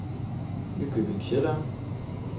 Nykøbing Sjælland